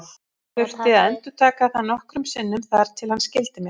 Ég þurfti að endurtaka það nokkrum sinnum þar til hann skildi mig.